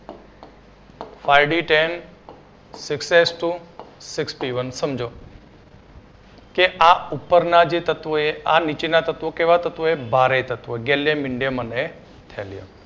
SD Ten Six S Two Six P One સમજો કે આ ઉપરના જે તત્વો એ આ નીચેના તત્વો કેવા તત્વો છે ભારે તત્વો galium indium અને thelium